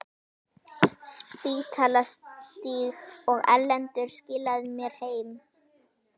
Spítalastíg, og Erlendur skilaði mér heim!